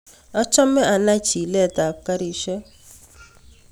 Achome anai chilet ab karishek